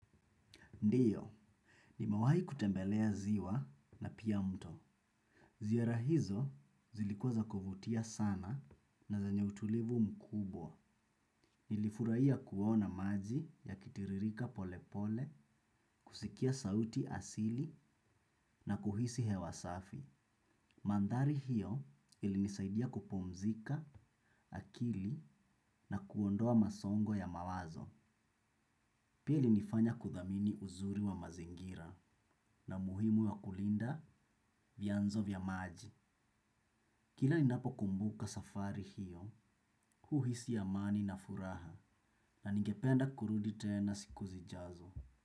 Ndiyo, nimewahi kutembelea ziwa na pia mto. Ziara hizo zilikuwa za kuvutia sana na zenye utulivu mkubwa. Nilifurahia kuona maji yakitiririka pole pole, kusikia sauti asili na kuhisi hewa safi. Mandhari hiyo ilinisaidia kupumzika akili na kuondoa msongo ya mawazo. Pili hunifanya kudhamini uzuri wa mazingira na muhimu wa kulinda vyanzo vya maji. Kila ninapo kumbuka safari hiyo, huhisi amani na furaha na ningependa kurudi tena siku zijazo.